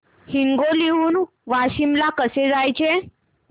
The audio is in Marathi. हिंगोली हून वाशीम ला कसे जायचे